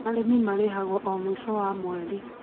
Arĩmi marĩhagwo o mũico wa mweri